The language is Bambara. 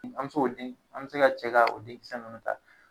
An bɛ se ko den an bɛ se ka cɛ ka o denkisɛ ninnu ta.